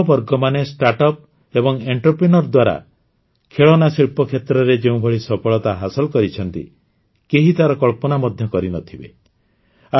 ଆମର ଯୁବବର୍ଗମାନେ ଷ୍ଟାର୍ଟଅପ ଏବଂ ଉଦ୍ୟମିତା ଦ୍ୱାରା ଖେଳନା ଶିଳ୍ପ କ୍ଷେତ୍ରରେ ଯେଉଁଭଳି ସଫଳତା ହାସଲ କରିଛନ୍ତି କେହି ତାର କଳ୍ପନା ମଧ୍ୟ କରିନଥିବେ